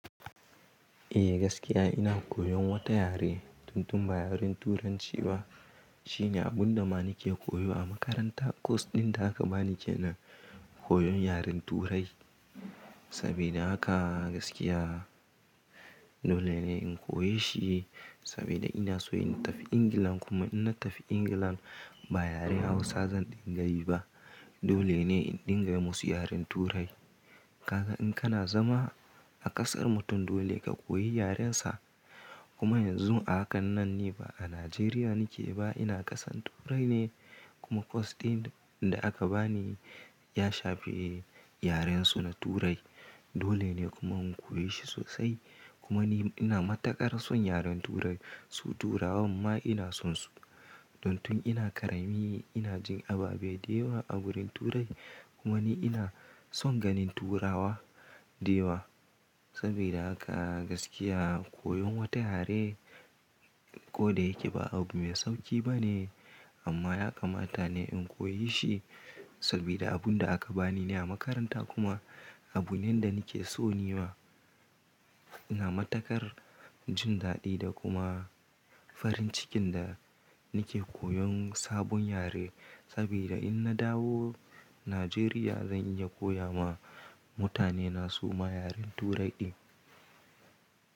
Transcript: Eh gaskiya ina koyon wata yare, tun tun ba yaren Turanci ba. Shine abun da ma nike koyo a makaranta. Cause ɗin da aka bani kenan koyon yaren Turai. Sabida haka gaskiya dole ne in koya shi saboda ina so in tafi England kuma in na tafi England ba yaren Hausa zan dinga yi ba. Dole ne in dinga yi musu yaren Turai. Kaga in kana zama a ƙasar mutum dole ka koyi yaren sa. Kuma yanzu a hakan nan ni ba a Nigeria nike ba ina ƙasan Turai ne kuma cause ɗin da aka bani ya shafi yaren su na Turai. Dole ne kuma in koya shi sosai kuma ni ina matakar son yaren Turai, su Turawan ma ina son su. Don tun ina ƙarami ina jin ababe da yawa a wurin Turai kuma ni ina son ganin Turawa da yawa. Saboda haka gaskiya koyon wata yare ko da yake ba abu mai sauƙi ba ne amma ya kamata ne in koya shi sabida abun da aka bani ne a makaranta kuma abu ne da nike so nima ina matakar jin daɗi da kuma farin cikin da nike koyon sabon yare. Saboda in na dawo Nigeria zan iya koya ma mutane na su ma yaren Turai ɗin.